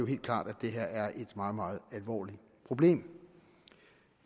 helt klart at det her er et meget meget alvorligt problem